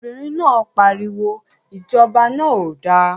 Obìnrin náà pariwo, Ìjọba náà ò da!